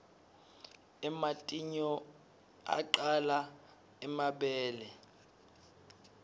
ematinyou aqaya emabele